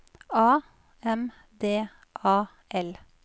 A M D A L